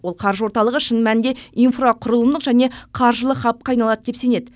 ол қаржы орталығы шын мәнінде инфрақұрылымдық және қаржылық хабқа айналады деп сенеді